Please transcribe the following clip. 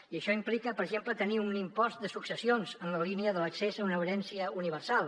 i això implica per exemple tenir un impost de successions en la línia de l’accés a una herència universal